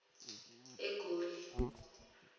egoli